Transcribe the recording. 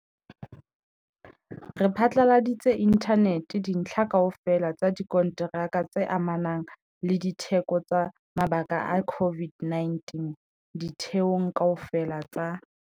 Re phatlaladitse inthaneteng dintlha kaofela tsa dikonteraka tse amanang le ditheko tsa mabaka a COVID-19 ditheong kaofela tsa